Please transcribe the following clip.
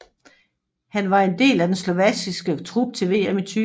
Han var en del af den slovakiske trup til VM i 2010